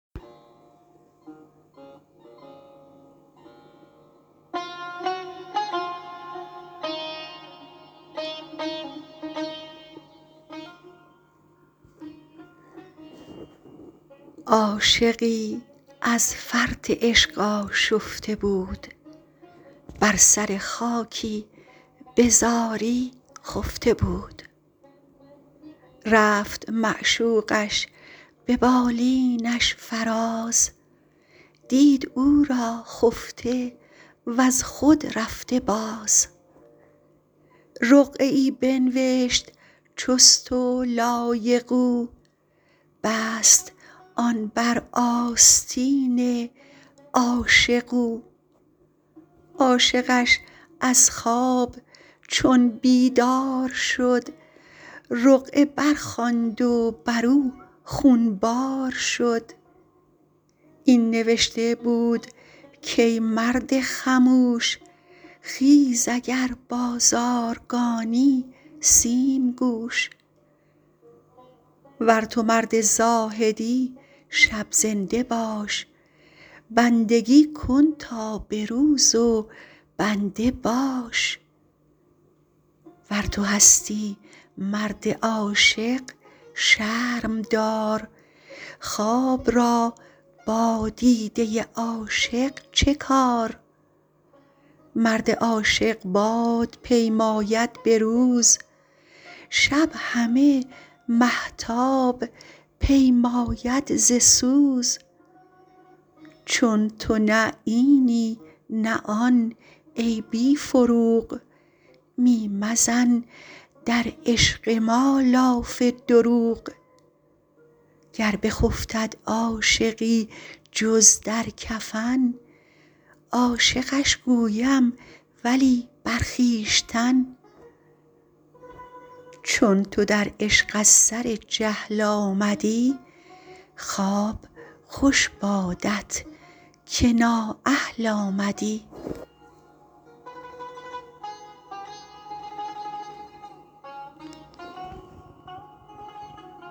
عاشقی از فرط عشق آشفته بود بر سر خاکی بزاری خفته بود رفت معشوقش به بالینش فراز دید او را خفته وز خود رفته باز رقعه ای بنبشت چست و لایق او بست آن بر آستین عاشق او عاشقش از خواب چون بیدار شد رقعه برخواند و برو خون بار شد این نوشته بود کای مرد خموش خیز اگر بازارگانی سیم کوش ور تو مرد زاهدی شب زنده باش بندگی کن تا به روز و بنده باش ور تو هستی مرد عاشق شرم دار خواب را با دیده عاشق چه کار مرد عاشق باد پیماید به روز شب همه مهتاب پیماید ز سوز چون تو نه اینی نه آن ای بی فروغ می مزن در عشق ما لاف دروغ گر بخفتد عاشقی جز در کفن عاشقش گویم ولی بر خویشتن چون تو در عشق از سر جهل آمدی خواب خوش بادت که نااهل آمدی